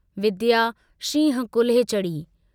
विद्या शींहं कुल्हे चढ़ी।